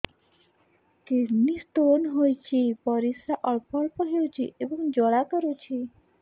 kidney stone ହୋଇଛି ପରିସ୍ରା ଅଳ୍ପ ଅଳ୍ପ ହେଉଛି ଏବଂ ଜ୍ୱାଳା କରୁଛି